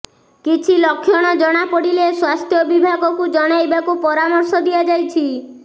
କିଛି ଲକ୍ଷଣ ଜଣାପଡ଼ିଲେ ସ୍ୱାସ୍ଥ୍ୟ ବିଭାଗକୁ ଜଣାଇବାକୁ ପରାମର୍ଶ ଦିଆଯାଇଛି